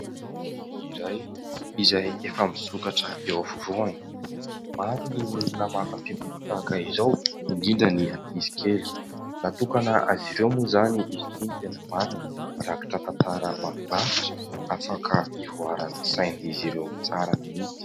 Boky iray, izay efa misokatra eo afovoany. Maro ny olona mankafy boky tahaka izao, indrindra ny ankizikely. Natokana azy ireo moa izany izy ity no tena marina. Mirakitra tantara mahafinaritra afaka ivoaran'ny sain'izy ireo tsara mihitsy.